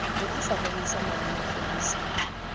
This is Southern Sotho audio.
ne a sa rerisa malomafodisa